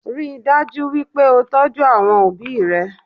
Ríi dájú wípé o tọ́jú àwọn obi rẹ̀